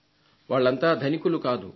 వాళ్లంతా ధనికులు కాదు